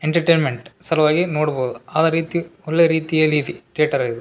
Entertainment ಸಲುವಾಗಿ ನೋಡ್ಬಹುದು ಆದ ರೀತಿ ಒಳ್ಳೆ ರೀತಿಯಲ್ಲಿದಿ ಥೇಟರ್ ಇದು.